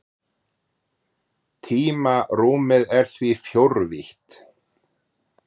Tímarúmið er því fjórvítt.